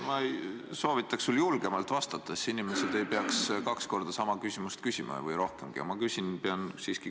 Ma soovitaks julgemalt vastata, siis inimesed ei peaks kaks korda sama küsimust küsima või rohkemgi.